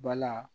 Bala